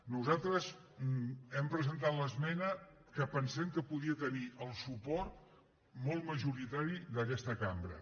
nosaltres hem presentat l’esmena que pensem que podia tenir el suport molt majoritari d’aquesta cambra